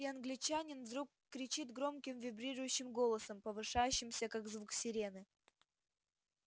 и англичанин вдруг кричит громким вибрирующим голосом повышающимся как звук сирены